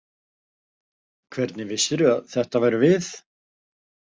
Hvernig vissirðu að þetta værum við?